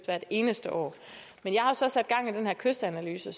hvert eneste år men jeg har så sat gang i den her kystanalyse